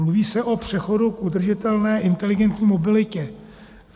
Mluví se o přechodu k udržitelné inteligentní mobilitě.